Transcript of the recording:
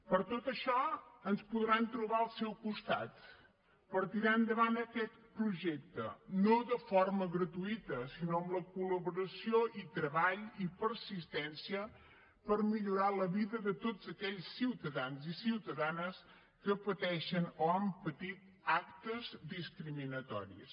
per tot això ens podran trobar al seu costat per tirar endavant aquest projecte no de forma gratuïta sinó amb la col·laboració i treball i persistència per millorar la vida de tots aquells ciutadans i ciutadanes que pateixen o han patit actes discriminatoris